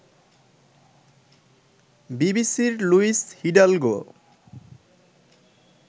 বিবিসির Luis Hidalgo